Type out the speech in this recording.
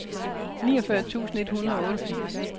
niogfyrre tusind et hundrede og otteogfirs